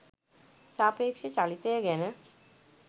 සාපේක්ෂ චලිතය ගැන